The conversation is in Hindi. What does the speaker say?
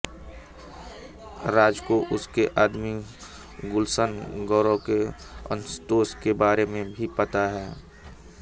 राज को उसके आदमी गुलशन ग्रोवर के असंतोष के बारे में भी पता है